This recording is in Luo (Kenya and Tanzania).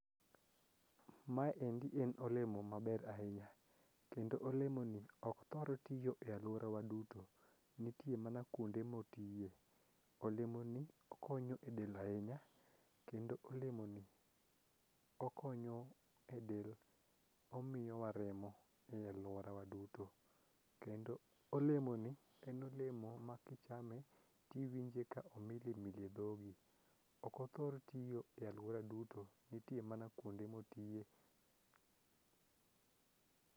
Maendi en olemo maber ahinya kendo olemoni ok thor tiyo e alworawa duto, nitie mana kuonde motiye. Olemoni okonyo e del ahinya kendo olemoni okonyo e del omiyowa remo e alworawa duto kendo olemoni en olemo ma kichame tiwinje ka omilimili e dhogi. Okothor tiyo e alwora duto nitie mana kuonde motiye.